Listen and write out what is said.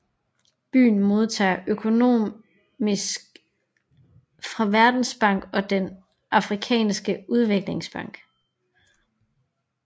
Byen modtager økonomisk fra Verdensbanken og den Afrikanske Udviklingsbank